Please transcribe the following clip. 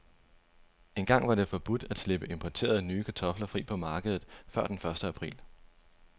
Engang var det forbudt at slippe importerede, nye kartofler fri på markedet før den første april.